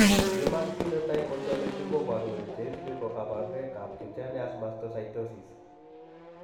Human Phenotype Ontology koboru kole cheisubi kokabarunoik ab cutaneous mastocytosis